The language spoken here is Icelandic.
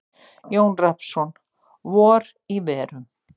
Jón Rafnsson: Vor í verum.